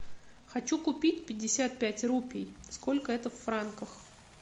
хочу купить пятьдесят пять рупий сколько это в франках